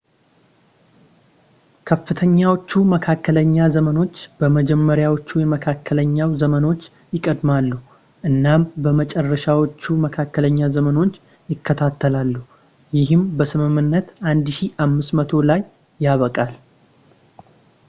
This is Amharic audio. ከፍተኛዎቹ መካከለኛ ዘመኖች በመጀመሪያዎቹ የመካከለኛው ዘመኖች ይቀደማሉ እናም በመጨረሻዎቹ መካከለኛ ዘመኖች ይከተላሉ ይህም በስምምነት 1500 ላይ ያበቃል